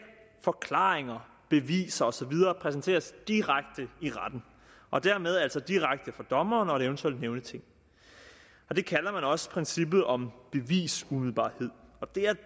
forklaringer beviser og så videre præsenteres direkte i retten og dermed altså direkte for dommeren og et eventuelt nævningeting det kalder man også princippet om bevisumiddelbarhed og det er